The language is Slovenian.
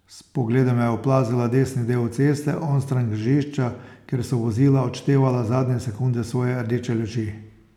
S pogledom je oplazila desni del ceste, onstran križišča, kjer so vozila odštevala zadnje sekunde svoje rdeče luči.